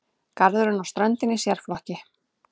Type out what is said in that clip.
Garðurinn og ströndin í sérflokki.